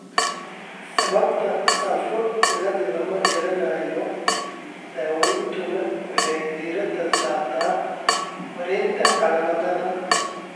Sababta SAPHO cilada lama garanayo, daaweyntuna waxay diiradda saartaa maaraynta calaamadaha.